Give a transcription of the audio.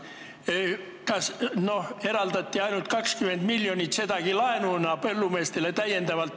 Põllumeestele eraldati lisaks ainult 20 miljonit, sedagi laenuna.